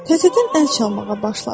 Təzədən əl çalmağa başladı.